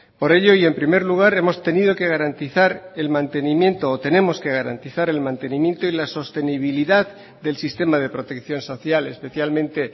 por ello y en primer lugar hemos tenido que garantizar el mantenimiento o tenemos que garantizar el mantenimiento y la sostenibilidad del sistema de protección social especialmente